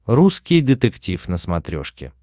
русский детектив на смотрешке